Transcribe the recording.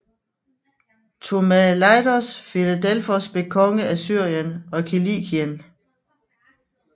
Ptomelaios Filadelfos blev konge af Syrien og Kilikien